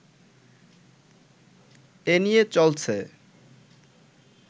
এ নিয়ে চলছে